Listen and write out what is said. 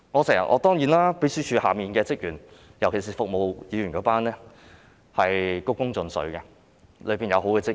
當然，秘書處轄下，特別是服務議員的職員均是鞠躬盡瘁的，當中有好的職員。